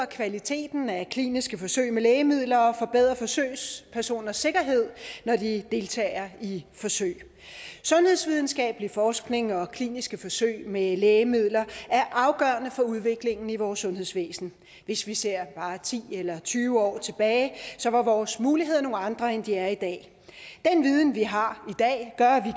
kvaliteten af kliniske forsøg med lægemidler og forbedre forsøgspersoners sikkerhed når de deltager i forsøg sundhedsvidenskabelig forskning og kliniske forsøg med lægemidler er afgørende for udviklingen i vores sundhedsvæsen hvis vi ser bare ti eller tyve år tilbage var vores muligheder nogle andre end de er i dag den viden vi har